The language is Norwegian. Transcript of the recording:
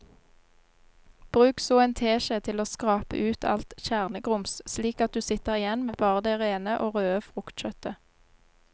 Bruk så en teskje til å skrape ut alt kjernegrums slik at du sitter igjen med bare det rene og røde fruktkjøttet.